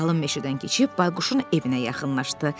Qalın meşədən keçib Bayquşun evinə yaxınlaşdı.